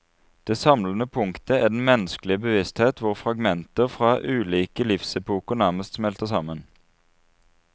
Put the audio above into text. Det samlende punktet er den menneskelige bevissthet hvor fragmenter fra ulike livsepoker nærmest smelter sammen.